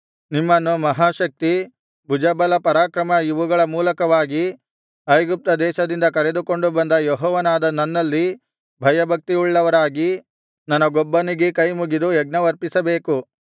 ನಿಮ್ಮನ್ನು ಮಹಾಶಕ್ತಿ ಭುಜಬಲಪರಾಕ್ರಮ ಇವುಗಳ ಮೂಲಕವಾಗಿ ಐಗುಪ್ತ ದೇಶದಿಂದ ಕರೆದುಕೊಂಡು ಬಂದ ಯೆಹೋವನಾದ ನನ್ನಲ್ಲಿ ಭಯಭಕ್ತಿಯುಳ್ಳವರಾಗಿ ನನಗೊಬ್ಬನಿಗೇ ಕೈಮುಗಿದು ಯಜ್ಞವರ್ಪಿಸಬೇಕು